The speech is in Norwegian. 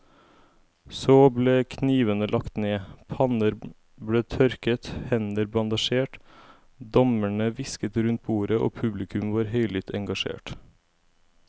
Så ble knivene lagt ned, panner ble tørket, hender bandasjert, dommerne hvisket rundt bordet og publikum var høylytt engasjert.